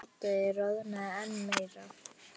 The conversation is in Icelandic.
Tóti roðnaði enn meira.